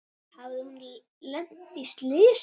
Hafði hún lent í slysi?